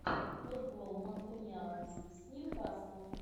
футбол манкунианцы с ньюкаслом